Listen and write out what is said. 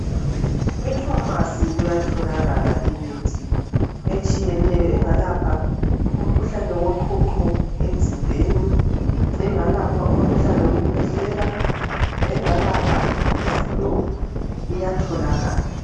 E"pharmacy " kuyatholakala imithi etshiyeneyo engalapha umkhuhlane woqhuqho emzimbeni, engalapha umkhuhlane wokukhwehlela, engalapha i"Flu" ,iyatholakala.